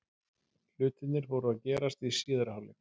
Hlutirnir fóru að gerast í síðari hálfleik.